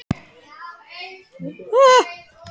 Henni sýnist hann gjóa augunum annað veifið til sín.